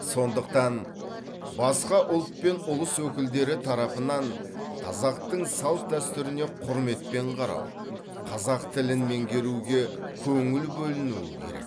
сондықтан басқа ұлт пен ұлыс өкілдері тарапынан қазақтың салт дәстүріне құрметпен қарау қазақ тілін меңгеруге көңіл бөлінуі керек